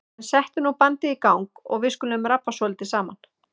En settu nú bandið í gang og við skulum rabba svolítið saman.